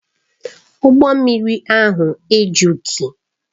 Ụgbọ mmiri ahụ ejughị